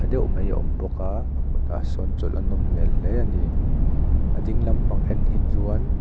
tha deuh mai a awm bawka a kawtah sawn chawlh a nawm hmel hle ani a dinglam pang en hi chuan--